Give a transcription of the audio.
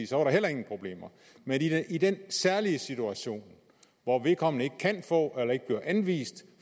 så var der heller ingen problemer men i den særlige situation hvor vedkommende ikke kan få eller ikke bliver anvist